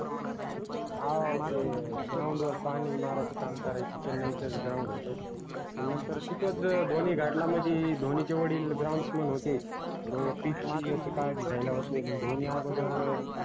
हाओ ते ground वर पानी मारायचं काम करायचे चेन्नईचच ground होत मग नंतर तिथंच धोनी मदि धोनीचे वडील groundsman होते pitch ची याची काळजी घ्यायला धोनी अगोदर